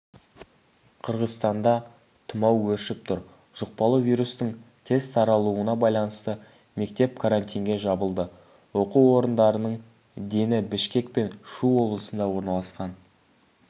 қырғызстанда тұмау өршіп тұр жұқпалы вирустың тез таралуына байланысты мектеп карантинге жабылды оқу орындарының дені бішкек пен шу облысында орналасқан